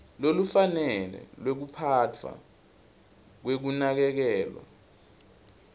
lolufanele lwekuphatfwa kwekunakekelwa